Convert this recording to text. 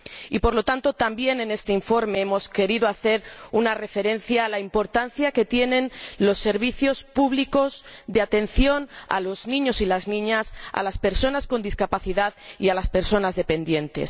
Y por lo tanto, también en este informe hemos querido hacer una referencia a la importancia que tienen los servicios públicos de atención a los niños y las niñas, a las personas con discapacidad y a las personas dependientes.